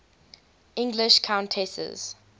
english countesses